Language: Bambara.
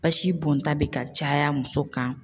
Basi bɔnta be ka caya muso kan